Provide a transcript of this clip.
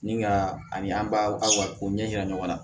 Ni ka ani an b'a ko ɲɛ yira ɲɔgɔn na